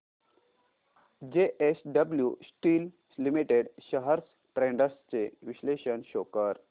JSW steel limited shares trends चे विश्लेषण show कर